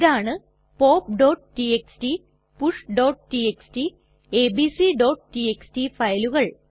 ഇതാണ് pop TXT push TXT abc TXT ഫയലുകൾ